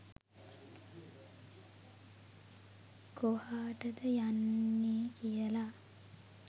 කොහාටද යන්නේ කියලා.